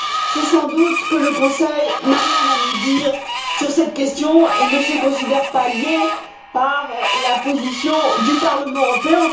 C'est sans doute que le Conseil n'a rien à nous dire sur cette question et ne se considère pas lié par la position du Parlement européen.